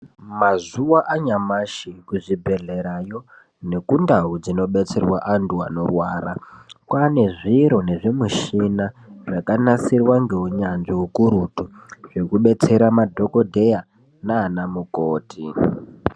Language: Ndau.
Mazuwaanyamashi kuzvibhedhlerayo nekundau dzinodetserwa anthu anorwara kwaane zviro nezvimishina zvakanasirwe neunyanzvi ukurutu zvekudetsera madhokodheya nanamukoti.